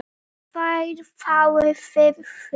tveir fái fimm hver